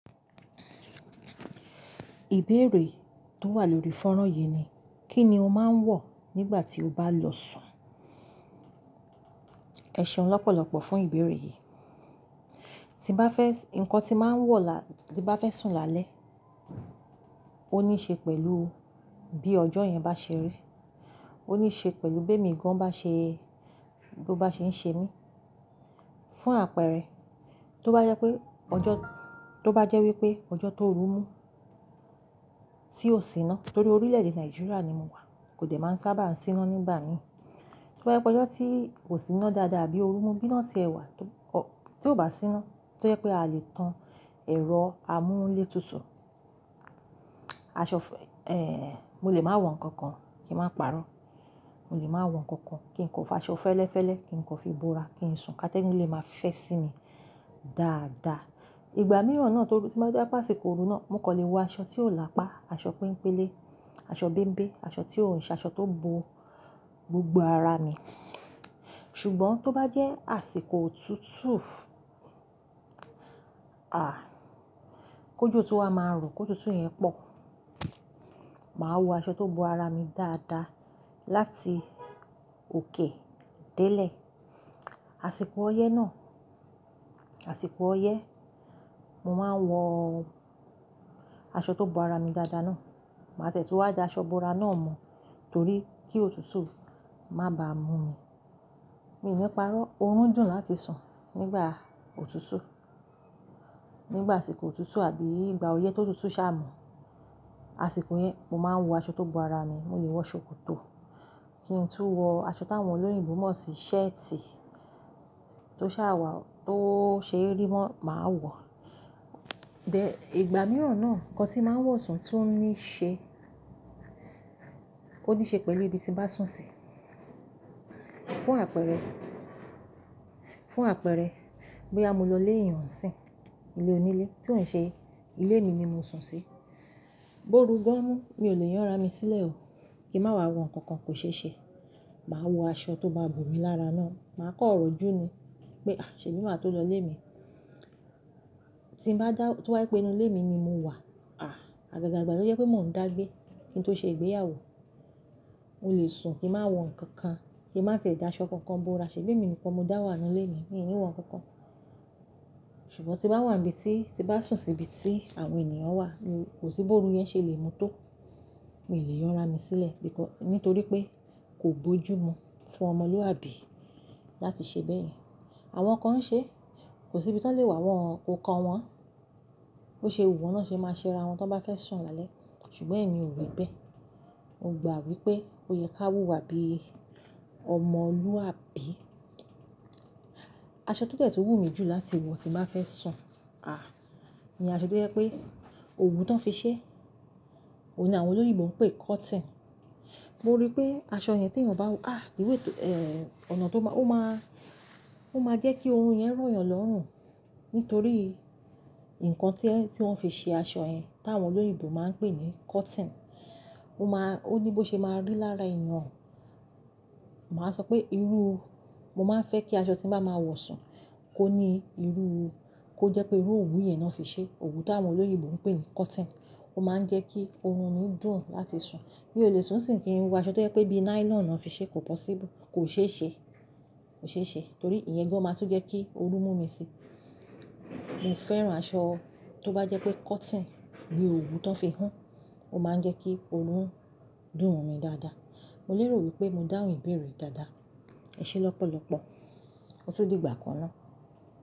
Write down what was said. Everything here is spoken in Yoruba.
Ìbéèrè tó wà lórí fọ́nrán yìí ni, kí ni o máa ń wọ̀ nígbà tí o bá lọ sùn? Ẹ̀ṣẹ̀un lọ́pọ̀lọ́pọ̀ fún ìbéèrè yìí. Tín bá fẹ́, ǹkan tí màá ń wọ̀ là, tín bá fẹ́ sùn lálẹ́, ó níí ṣe pẹ̀lú bí ọjọ́ yẹn bá ṣe rí. Ó níí ṣe pẹ̀lú bí èmi gan bá ṣe, bo bá ṣe ń ṣe mí. Fún àpẹẹrẹ, tó bá jẹ́ pé ọjọ́, tó bá jẹ́ wípé ọjọ́ tó rù mú tí ò sí iná, torí orílẹ̀-èdè Nàìjíríà ni mo wà, kò dẹ̀ máa ń sábà sí iná nígbà mi. Tó bá jẹ́ pé ọjọ́ tí ò sí iná dáadáa bí i òru mú bí iná ti ẹ̀wà tó, tó bá sí iná, tó jẹ́ pé a lè tan ẹ̀rọ amúlé tutù, aṣọ è, mo lè máa wọ ǹkan kan kíń máa pàrọ́. Mo lè máa wọ ǹkan kan kín kan fi aṣọ fẹ́lẹ́fẹ́lẹ́ kín kò fi bò ra kíń sùn ká tẹ́gùn lè máa fẹ́ sí mi dáadáa. Ìgbà mìíràn náà tó rù tí bá jẹ́ pé àsìkò òru náà, mo kò lè wọ aṣọ tí ó lápá, aṣọ penpélé, aṣọ bémbé, aṣọ tí ò ń ṣe aṣọ tó bo gbogbo ara mi. Ṣùgbọ́n tó bá jẹ́ àsìkò òtútù a! Kojo tu wa máa ro, kó òtútù yẹn pọ̀, màá wọ aṣọ tó bo ara mi dáadáa láti òkè délé. Àsìkò ọyẹ́ náà, àsìkò ọyẹ́, mo máa ń wọ aṣọ tó bo ara mi dáadáa náà. Màá tiẹ́ tún wá da aṣọ bo ara na mọ́ torí kí òtútù má bà mú mi. Mi ò ní pàrọ́ òórùn dùn láti sùn nígbà òtútù. Nígbà àsìkò òtútù àbí ìgbà ọyẹ́ tó òtútù sáà mú, àsìkò yẹn, mo máa ń wọ aṣọ tó bo ara mi. Mo lè wọ ṣòkòtò kí n tú wọ aṣọ táwọn olóyìnbómọ̀ ṣe, shirt tó ṣàwà tó ṣe eri mọ́, màá wọ. Then, ìgbà mìíràn náà ǹkan tí màá ń wọ̀ sùn tún níí ṣe, ó níí ṣe pẹ́lú ibi tí mo ba sùn sí. Fún àpẹẹrẹ, fún àpẹẹrẹ boya mo lọ ilé eyan n sín, ilé onílé tí ò ń ṣe ilé mi ni mo sùn sí, bóru gan mú mi ò lè yanra mi sílẹ̀ o, kíń má wa wọ ǹkan kan kò ṣe ṣe. Màá wọ aṣọ tó bá bò mí lára náà, màá kọrọ̀ju ni pé a ṣẹbí mà tó lọ ilé mi. Tín bá dá, tó bá je pé inú ilé mi ni mo wà, à! Àgàgà igbà tó jẹ́ pé mò ń dá gbé kí n tó ṣe ìgbéyàwó, mo lè sùn kíń má wọ ǹkan kan, kíń má tẹ̀i da aṣọ kan kan bò ra ṣèbí èmi nìkan mo dá wà nínú ilé mi, mi ò ní wọ ǹkan kan. Ṣùgbọ́n tín bá wà nibi tí, tín bá sùn sí ibi tí àwọn ènìyàn wà, kò sí bóru yẹn ṣe lè mú tó. Mi ò lè yanra mi sílẹ̀ bí kọ, nítorí pé kò bójú mu fún ọmọlúwàbí láti ṣe bẹ́ yẹn. Àwọn kan ń ṣe, kò sí ibi tí won lè wà wọ́n, ko kan wọ́n. Bose wú won náà ṣe máa ṣé ara wọn tí wọ́n bá fẹ́ sùn lálẹ́, ṣùgbọ́n èmi ò rí bẹ́ẹ̀. Mo gbà wípé ó yẹ ká wú wa bí ọmọlúwàbí. Aṣọ tó dẹ̀ tún wú mi jù láti wọ tí màá fẹ́ sùn, à, ni aṣọ tó jẹ́ pé òwú tó ń fi ṣẹ́, òní àwọn olóyìnbómọ̀ ń pè cotton. Mo rí pé aṣọ yẹn tí èèyàn bá wọ, à ìwé to, è, ọ̀nà tó má, ó má, ó máa jẹ́ kí orun yẹn rọ̀yàn lọ́rùn nítorí ǹkan tí ẹ́ tí wọ́n fi ṣe aṣọ yẹn táwọn olóyìnbómọ̀ máa ń pè ní cotton, ó má, ó ní bó ṣe máa rí lára èèyàn. Màá sọ pé irú, mo máa ń fẹ́ kí aṣọ tí màá máa wọ̀ sùn kó ní irú, kó jẹ́ pé irú òwú yẹn náà fi ṣe. Òwú táwọn olóyìnbómọ̀ ń pè ní cotton ó máa ń jẹ́ kí orun mi dùn láti sùn. Mí ó lè sùn sìń kín wọ aṣọ tó jẹ́ pé bí nylon náà fi ṣe kò possible, kò ṣe é ṣe, kò ṣe é ṣe torí ìyẹn gan máa tún jẹ́ kí òru mú mi sí. Mo fẹ́ran aṣọ tó bá jẹ́ pé cotton ní òwú tóń fi hun, ó máa ń jẹ́ kí òrun dùn mo mi dáadáa. Mo lero pé mo dáhùn ìbéèrè yii dáadáa. Ẹ̀ṣẹ̀ lọ́pọ̀lọ́pọ̀, ọtú dìgbà kan náà.